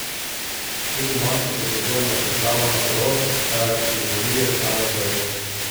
Tudi moški potrebujejo pripravo na porod, kar jim vlije samozavest.